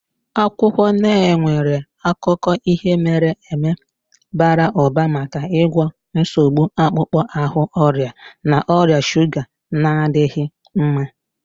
Akwụkwọ Neem nwere akụkọ ihe mere eme bara ụba maka ịgwọ nsogbu akpụkpọ ahụ, ọrịa na ọrịa shuga na-adịghị mma.